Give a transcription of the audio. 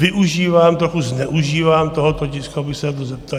Využívám, trochu zneužívám tohoto tisku, abych se na to zeptal.